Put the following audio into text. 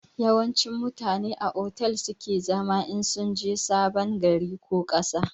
Yawanci mutane a otel su ke zama in sunje sabon gari ko ƙasa